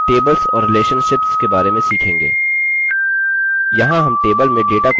यहाँ हम टेबल में डेटा को जोड़ने के बारे में सीखेंगे